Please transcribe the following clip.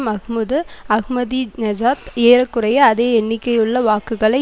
Mahmoud Ahmadinejad ஏற குறைய அதே எண்ணிக்கையுள்ள வாக்குகளை